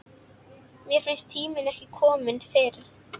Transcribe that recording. Mér fannst tíminn ekki kominn fyrr.